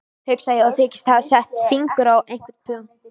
Hugsa ég og þykist hafa sett fingur á einhvern punkt.